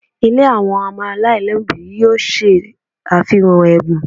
Ilé àwọn ọmọ aláìlóbìí yóò ṣe àfihàn ẹ̀bùn